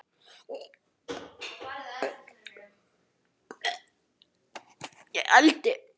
Upphaf hans er þannig